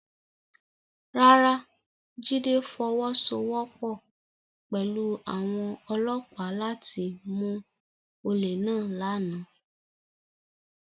Rárá, Jide fọwọsowọpọ pẹlu awọn ọlọpa lati mu ole náà làná